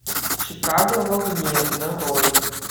чикаго в огне нарой